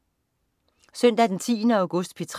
Søndag den 10. august - P3: